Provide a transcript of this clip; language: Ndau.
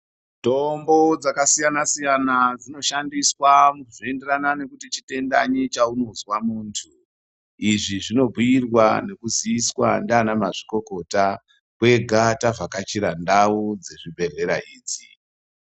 Mitombo dzakasiyana-siyana dzinoshandiswa zveienderana nekuti chitendanyi chaunonzwa muntu. Izvi zvinobhuirwa nekuziiswa ndiana mazvikokota kwega tavhakachira ndau dzezvibhedhlera idzi.